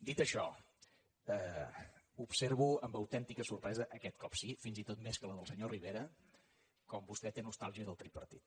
dit això observo amb autèntica sorpresa aquest cop sí fins i tot més que la del senyor rivera com vostè té nostàlgia del tripartit